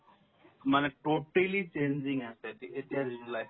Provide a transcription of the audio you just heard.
মানে totally changing আছে তে এতিয়াৰ যিটো life